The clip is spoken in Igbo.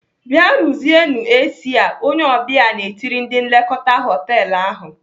"Bịa ruzienu AC a!" Onye ọbịa na-etiri ndị nlekọta họtelu ahụ.